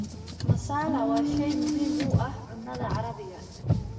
Masala waa shay muhiim u ah cunnada Carabiga.